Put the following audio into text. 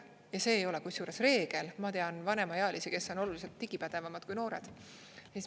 Ja see ei ole kusjuures reegel, ma tean vanemaealisi, kes on oluliselt digipädevamad kui noored.